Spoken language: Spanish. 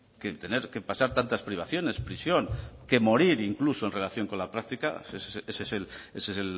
que tener que pasar tantas privaciones prisión que morir incluso en relación con la práctica ese es